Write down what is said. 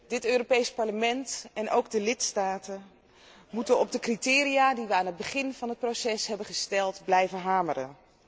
Dit Europees Parlement en ook de lidstaten moeten op de criteria die wij aan het begin van het proces hebben gesteld blijven hameren.